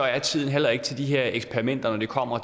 er tiden heller ikke til de her eksperimenter når det kommer